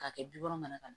K'a kɛ bi wolonwula ka na